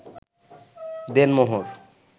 দেনমোহর